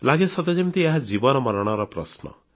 ଲାଗେ ସତେଯେମିତି ଏହା ଜୀବନମରଣର ପ୍ରଶ୍ନ